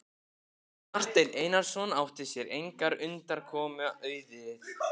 Marteinn Einarsson átti sér engrar undankomu auðið.